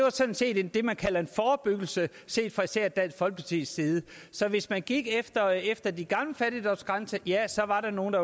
er sådan set det man kalder en forebyggelse set fra især dansk folkepartis side så hvis man gik efter efter de gamle fattigdomsgrænser ja så var der nogle